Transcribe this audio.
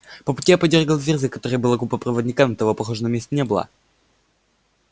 по пути я подёргал дверь за которой было купе проводника но того похоже на месте не было